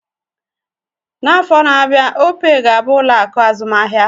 N'afọ na-abịa, opee ga-abụ ụlọ akụ azụmahịa